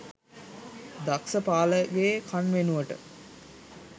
දක්ස පාලගේ කන් වෙනුවට